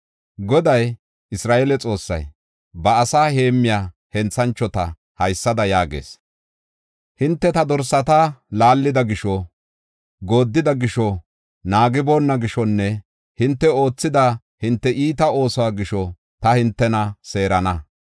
Goday, Isra7eele Xoossay, ba asaa heemmiya henthanchota haysada yaagees: “Hinte ta dorsata laallida gisho, gooddida gisho, naagiboonna gishonne hinte oothida hinte iita oosuwa gisho ta hintena seerana.